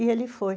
E ele foi.